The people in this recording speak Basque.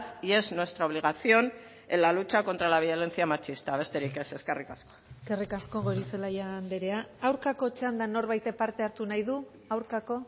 y es nuestra obligación en la lucha contra la violencia machista besterik ez eskerrik asko eskerrik asko goirizelaia andrea aurkako txandan norbaitek parte hartu nahi du aurkako